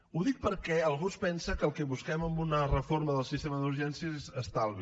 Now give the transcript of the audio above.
ho dic perquè algú es pensa que el que busquem amb una reforma del sistema d’urgències és estalvi